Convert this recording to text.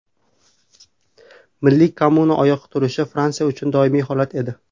Milliy kommuna oyoqqa turishi Fransiya uchun doimiy holat edi.